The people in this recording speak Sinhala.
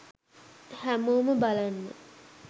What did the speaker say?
හැමෝම බලන්න